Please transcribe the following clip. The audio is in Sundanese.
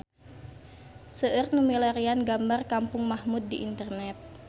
Seueur nu milarian gambar Kampung Mahmud di internet